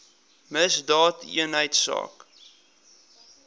misdaadeenheidsaak